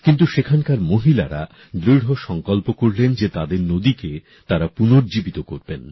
কিন্তু সেখানকার মহিলারা দৃঢ় সংকল্প নিলেন যে তাদের নদীকে তারা পুনর্জীবিত করবেন